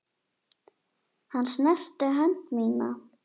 Og hann snerti hönd mína.